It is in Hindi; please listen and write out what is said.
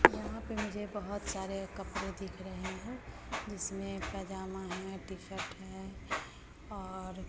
यहां पे मुझे बहोत सारे कपड़े दिख रहे हैं जिसमें पजामा है टी शर्ट है और--